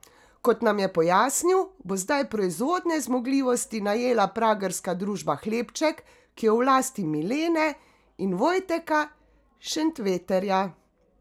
Kot nam je pojasnil, bo zdaj proizvodne zmogljivosti najela pragerska družba Hlebček, ki je v lasti Milene in Vojteka Šenveterja.